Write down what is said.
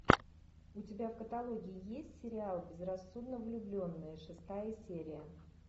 у тебя в каталоге есть сериал безрассудно влюбленные шестая серия